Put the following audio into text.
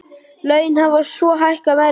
Laun hafa svo hækkað meira.